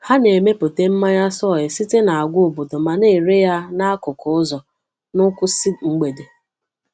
Ha na-emepụta mmanya soy site n’agwa obodo ma na-ere ya n’akụkụ ụzọ n’kwụsgg mgbede.